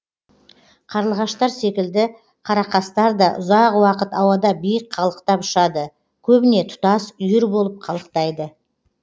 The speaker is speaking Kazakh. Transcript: қарлығаштар секілді қарақастар да ұзақ уақыт ауада биік қалықтап ұшады көбіне тұтас үйір болып қалықтайды